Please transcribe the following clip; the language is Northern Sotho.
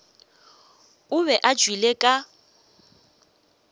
o be a tšwele ka